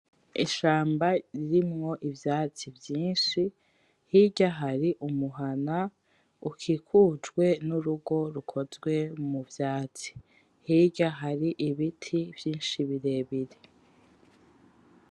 Ishamba ririmwo ivyatsi vyinshi. Hirya hari umuhana ukikujwe n'urugo rukozwe mu vyatsi, hirya hari ibiti vyinshi birebire.